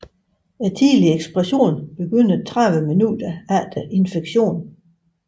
Tidlig ekspression begynder 30 minutter efter infektion